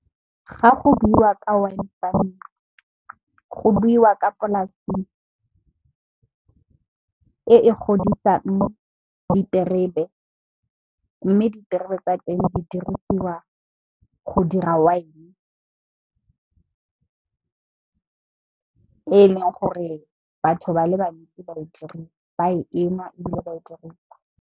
Ga go buiwa ka wine farming, go buiwa ka polase e e godisang diterebe mme, diterebe tsa teng di dirisiwa go dira wine e leng gore batho ba le bantsi ba enwa ebile ba idirisa.